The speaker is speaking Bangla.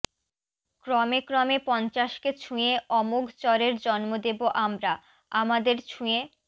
ক্রমে ক্রমে পঞ্চাশকে ছুঁয়ে অমোঘ চরের জন্ম দেবো আমরা আমাদের ছুঁয়ে